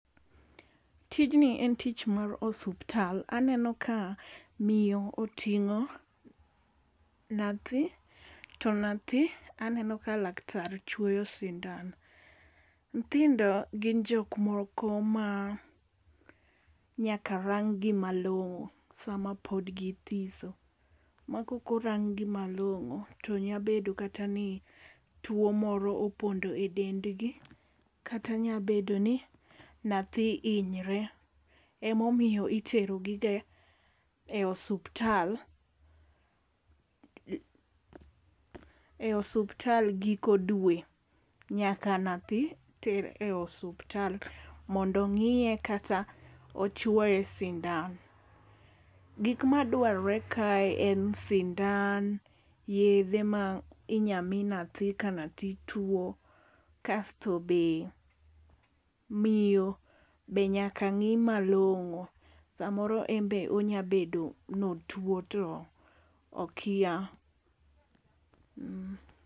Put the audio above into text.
Tijni en tich mar osuptal. Aneno ka miyo oting'o nathi to nathi aneno ka laktar chwoyo sindan. Nyithindo gin jok moko ma nyaka rang gi malong'o sama pog githiso. Ma kok orang gi malong'o to nyabedo kata ni tuo moro opondo e dendgi kata nya bedo ni nyathi hinyre. E momiyo itero gi ga e osuptal e osuptal giko dwe. Nyaka nyathi ter e osuptal mondo ong'iye kata ochwoye sindan. Gik madwarore kae en sindan, yedhe ma inya mi nyathi ka nyathi tuo. Kasto be miyobe nyaka ng'i malongo. Samoro enbe onyabedo notuo to okia.